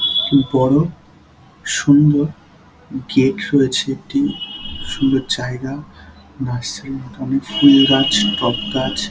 বড় সুন্দর গেট হয়েছে একটি সুন্দর জায়গা নার্সারি - এর মতো অনেক ফুল গাছ টব গাছ ।